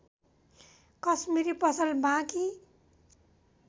कश्मिरी पसल बाँकी